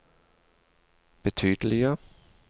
betydelige